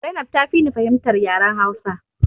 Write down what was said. Zainab ta fi ni fahimtar yaren hausa